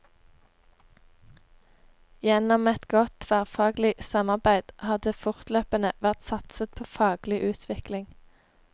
Gjennom et godt tverrfaglig samarbeid har det fortløpende vært satset på faglig utvikling.